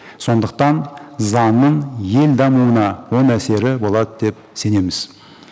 сондықтан заңның ел дамуына оң әсері болады деп сенеміз